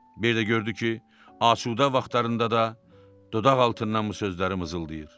Bir də gördü ki, asudə vaxtlarında da dodaq altından bu sözləri mızıldayır.